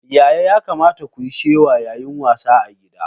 Yaya ya kamata kuyi shewa yayin wasa a ciki gida?